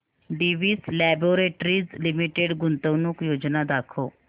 Divi's laboratories limited गुंतवणूक योजना दाखव